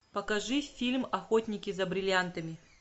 покажи фильм охотники за бриллиантами